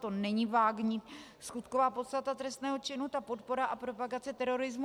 To není vágní skutková podstata trestného činu, ta podpora a propagace terorismu.